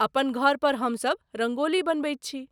अपन घर पर हमसभ रङ्गोली बनबैत छी।